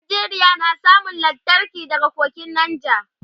Nigeria na samun lantarki daga kogin nija